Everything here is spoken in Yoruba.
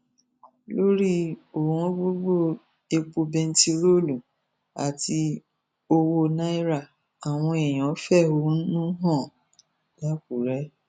lórí ọwọngọgọ epo bẹntiróòlù àti owó náírà àwọn èèyàn fẹhónú hàn làkúrẹ